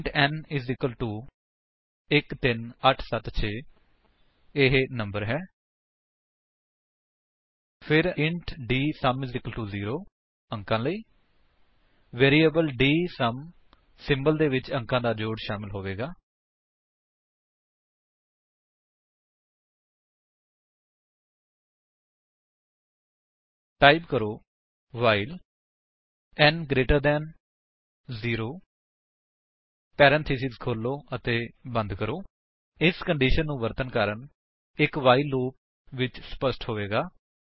int n 13876 ਇਹ number ਹੈ ਫਿਰ ਇੰਟ ਡੀਐਸਯੂਐਮ 0 ਅੰਕਾਂ ਲਈ ਵੈਰਿਏਬਲ ਡੀਐਸਯੂਐਮ ਸਿੰਬਲ ਦੇ ਵਿਚ ਅੰਕਾਂ ਦਾ ਜੋੜ ਸ਼ਾਮਿਲ ਹੋਵੇਗਾ ਟਾਈਪ ਕਰੋ while n greater than 0 parenthesis ਖੋਲੋ ਅਤੇ ਬੰਦ ਕਰੋ ਇਸ ਕੰਡੀਸ਼ਨ ਨੂੰ ਵਰਤਨ ਦਾ ਕਾਰਨ ਇੱਕ ਵਾਈਲ ਲੂਪ ਵਿੱਚ ਸਪੱਸ਼ਟ ਹੋਵੇਗਾ